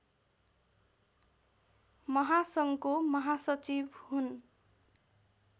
महासङ्घको महासचिव हुन्